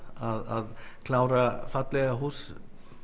að klára fallega hús